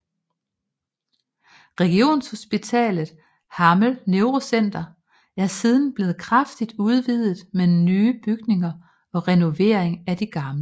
Regionshospitalet Hammel Neurocenter er siden blevet kraftigt udvidet med nye bygninger og renovering af de gamle